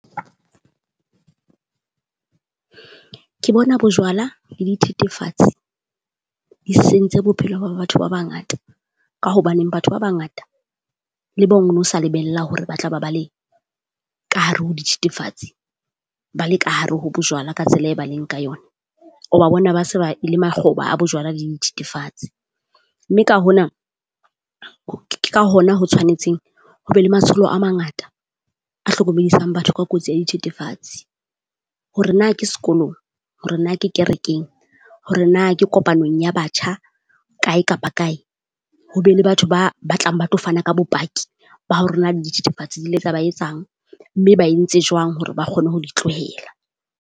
Ke bona bojwala le dithethefatsi di sentse bophelo ba ba batho ba bangata, ka hobaneng batho ba bangata le bong o na sa lebella hore ba tla ba ba le ka hare ho dithethefatsi, ba le kahare ho bojwala ka tsela e ba leng ka yone. O ba bona ba se ba e le makgoba a bojwala dithetefatse, mme ka hona ke ka hona ho tshwanetseng ho be le matsholo a mangata a hlokomedisang batho ka kotsi ya dithethefatsi. Hore na ke sekolong hore na ke kerekeng hore na ke kopanong ya batjha kae kapa kae. Ho be le batho ba batlang ba tlo fana ka bopaki ba hore na le dithethifatsi di le tsa ba etsang mme ba entse jwang hore ba kgone ho di tlohela.